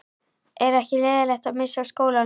Er ekki leiðinlegt að missa af skólanum?